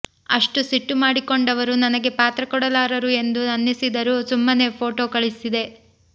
ಅಷ್ಟು ಸಿಟ್ಟು ಮಾಡಿಕೊಂಡವರು ನನಗೆ ಪಾತ್ರ ಕೊಡಲಾರರು ಎಂದು ಅನ್ನಿಸಿದರೂ ಸುಮ್ಮನೇ ಫೋಟೊ ಕಳಿಸಿದೆ